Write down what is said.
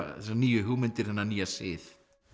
þessar nýju hugmyndir þennan nýja sið